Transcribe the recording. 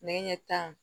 Nɛgɛ ɲɛ tan